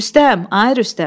Rüstəm, ay Rüstəm.